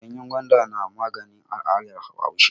Ganyen gwanda na magani a al'adar Bahaushe.